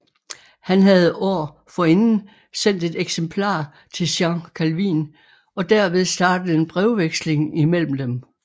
Han havde år forinden sendt et eksemplar til Jean Calvin og derved startet en brevveksling mellem dem